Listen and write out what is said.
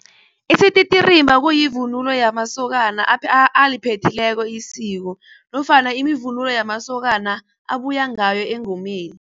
Isititirimba kuyivunulo yamasokana aliphethileko isiko nofana ivunulo yamasokana abuyangayo engomeni.